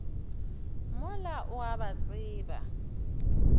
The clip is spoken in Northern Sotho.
mola o a ba tseba